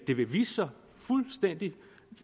det vise sig fuldstændig